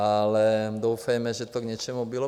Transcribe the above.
Ale doufejme, že to k něčemu bylo.